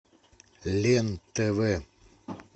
лен тв